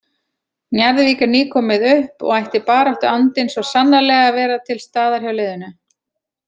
Njarðvík er nýkomið upp og ætti baráttuandinn svo sannarlega að vera til staðar hjá liðinu.